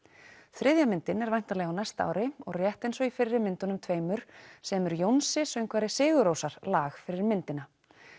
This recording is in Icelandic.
þriðja myndin er væntanleg á næsta ári og rétt eins og í fyrri myndunum tveimur semur Jónsi söngvari sigur rósar lag fyrir myndina